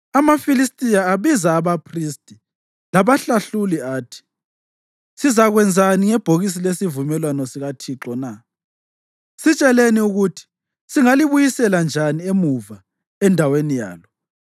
amaFilistiya abiza abaphristi labahlahluli athi, “Sizakwenzani ngebhokisi lesivumelwano sikaThixo na? Sitsheleni ukuthi singalibuyisela njani emuva endaweni yalo.”